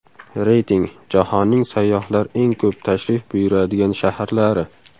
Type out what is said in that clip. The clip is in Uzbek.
Reyting: Jahonning sayyohlar eng ko‘p tashrif buyuradigan shaharlari.